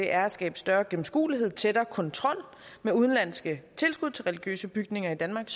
er at skabe større gennemskuelighed tættere kontrol med udenlandske tilskud til religiøse bygninger i danmark